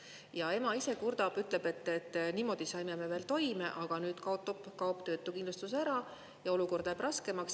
Ja ema ise kurdab, ütleb, et niimoodi saime me veel toime, aga nüüd kaob töötukindlustus ära ja olukord läheb raskemaks.